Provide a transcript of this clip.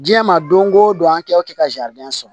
Diɲɛ ma don o don an kɛ ka sɔrɔ